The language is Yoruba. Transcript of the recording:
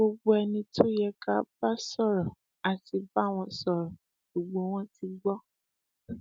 gbogbo ẹni tó yẹ ká bá sọrọ á ti bá wọn sọrọ gbogbo wọn ti gbó